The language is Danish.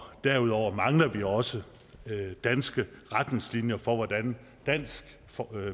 derudover mangler vi også danske retningslinjer for hvordan dansk